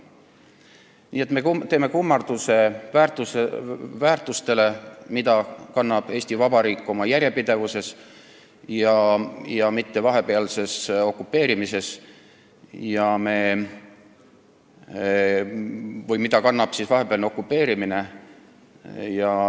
Nii et meie teeme kummarduse väärtustele, mida kannab Eesti Vabariik oma järjepidevuses, aga mitte sellele, mida kannab vahepealne okupeerimine.